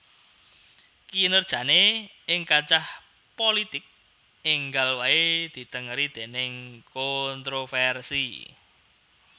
Kinerjané ing kancah pulitik énggal waé ditengeri déning kontrovèrsi